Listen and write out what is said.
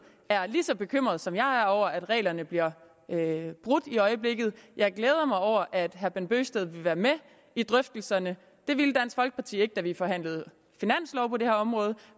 er lige så bekymret som jeg er over at reglerne bliver brudt i øjeblikket jeg glæder mig over at herre bent bøgsted vil være med i drøftelserne det ville dansk folkeparti ikke da vi forhandlede finanslov på det her område